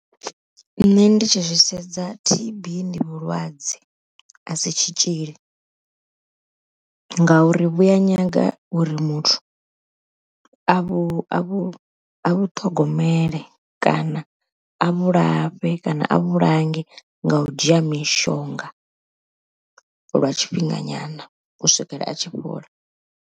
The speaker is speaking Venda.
Nṋe ndi tshi zwi sedza T_B ndi vhulwadze a si tshitzhili, ngauri vhuya nyaga uri muthu a vhu a vhu a vhuṱhogomele, kana a vhulafhe kana a vhulange nga u dzhia mishonga lwa tshifhinga nyana u swikela a tshi fhola.